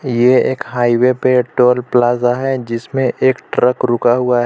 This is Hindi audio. यह एक हाईवे पे टोल प्लाजा है जिसमें एक ट्रक रुका हुआ है.